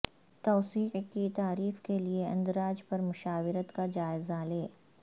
توسیع کی تعریف کیلئے اندراج پر مشاورت کا جائزہ لیں